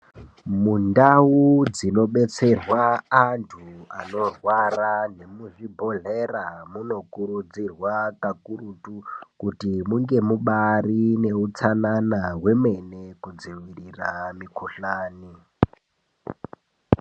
Mundau dzinodetserwa antu anorwara nemuzvibhodhlera munokurudzirwa kakurutu kuti munge mubaari neutsanana hwemene kudziirira mukhuhlani.